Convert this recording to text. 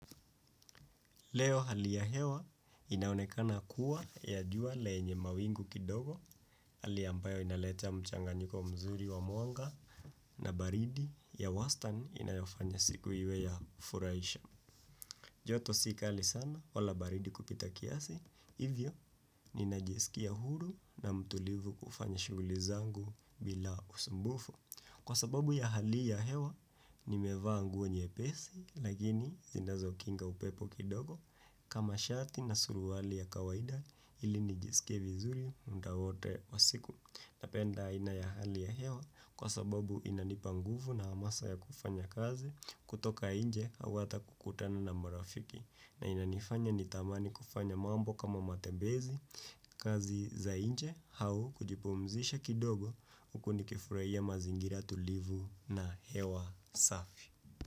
Leo hali ya hewa inaonekana kuwa ya jua lenye mawingu kidogo hali ambayo inaleta mchanganyiko mzuri wa mwanga na baridi ya wastan inayofanya siku iwe ya furaisha. Joto sikali sana wala baridi kupita kiasi, hivyo ninajisikia huru na mtulivu kufanya shuguli zangu bila usumbufu. Kwa sababu ya hali ya hewa, nimevaa nguo nyepesi, lakini zindazo kinga upepo kidogo kama shati na suruwali ya kawaida ili nijisike vizuri munda wote wa siku. Napenda aina ya hali ya hewa kwa sababu inanipa nguvu na hamasa ya kufanya kazi kutoka inje au hata kukutana na marafiki na inanifanya nitamani kufanya mambo kama matebezi kazi za inje hau kujipomzisha kidogo uku ni kifurahia mazingira tulivu na hewa safi.